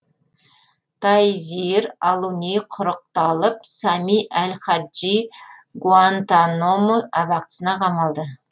тайзир алуни құрықталып сами әл хаджи гуантаномо абақтысына қамалды